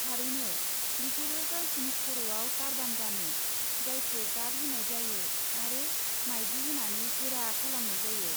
थारैनो, बिसोरो गावसिनि खर'आव टारबान गानो जायखौ गाब होनाय जायो आरो मायदि होनानै गोरा खालामनाय जायो।